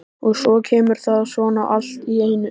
Og svo kemur það svona allt í einu.